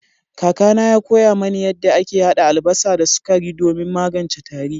Kakana ya koya mani yadda ake hada albasa da sukari domin magance tari.